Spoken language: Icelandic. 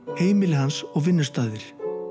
heimili hans og vinnustaðir